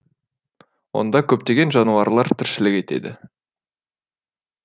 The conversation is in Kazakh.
онда көптеген жануарлар тіршілік етеді